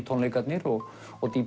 tónleikarnir og og